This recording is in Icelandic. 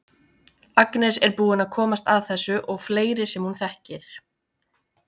Agnes er búin að komast að þessu og fleiri sem hún þekkir.